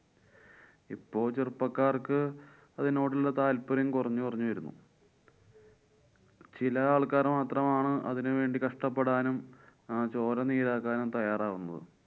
ഇപ്പൊ ചെറുപ്പക്കാര്‍ക്ക് അതിനോടുള്ള താല്‍പര്യം കൊറഞ്ഞു കൊറഞ്ഞു വരുന്നു. ചില ആള്‍ക്കാര് മാത്രമാണ് അതിന് വേണ്ടി കഷ്ട്ടപ്പെടാനും ആ ചോര നീരാക്കാനും തയ്യാറാകുന്നത്.